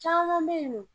Caman bɛ yen nɔ